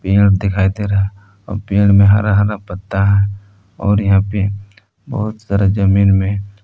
पेड़ दिखाई दे रहा है और पेड़ में हरा हरा पत्ता है और यहां पे बहुत सारा जमीन में--